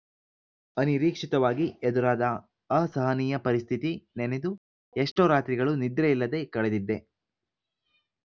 ಅನಿರೀಕ್ಷಿತವಾಗಿ ಎದುರಾದ ಅಸಹನೀಯ ಪರಿಸ್ಥಿತಿ ನೆನೆದು ಎಷ್ಟೋ ರಾತ್ರಿಗಳು ನಿದ್ರೆಯಿಲ್ಲದೆ ಕಳೆದಿದ್ದೆ